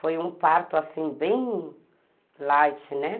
Foi um parto assim, bem light, né?